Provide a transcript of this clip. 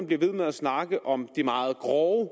bliver ved med at snakke om de meget grove